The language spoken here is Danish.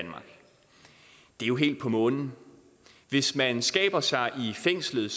er jo helt på månen hvis man skaber sig i fængslet